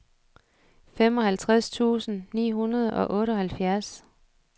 femoghalvtreds tusind ni hundrede og otteoghalvfjerds